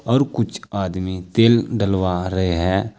और कुछ आदमी तेल डलवा रहे हैं।